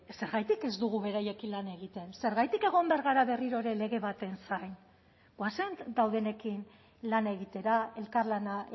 zergatik ez dugu beraiekin lan egiten zergatik egon behar gara berriro ere lege baten zain goazen daudenekin lan egitera elkarlana